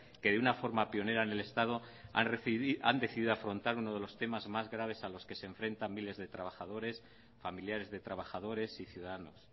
que de una forma pionera en el estadohan decidido afrontar uno de los temas más graves a los que se enfrentan miles de trabajadores familiares de trabajadores y ciudadanos